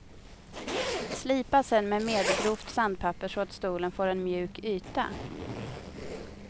Slipa sen med medelgrovt sandpapper så att stolen får en mjuk yta.